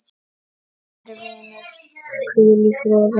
Kæri vinur, hvíl í friði.